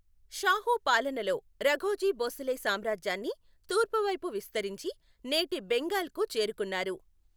షాహూ పాలనలో, రఘోజీ భోసలే సామ్రాజ్యాన్ని తూర్పువైపు విస్తరించి, నేటి బెంగాల్కు చేరుకున్నారు.